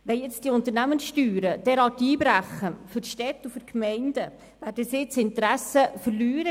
Wenn nun die Unternehmenssteuern derart einbrechen, werden die Städte und Gemeinden ihr Interesse an der Wirtschaftsförderung verlieren.